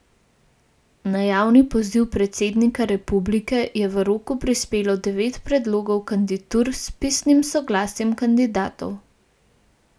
Na javni poziv predsednika republike je v roku prispelo devet predlogov kandidatur s pisnim soglasjem kandidatov.